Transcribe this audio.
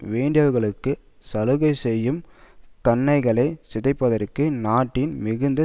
வேண்டியவர்களுக்கு சலுகை செய்யும் கன்னைகளை சிதைப்பதற்கு நாட்டின் மிகுந்த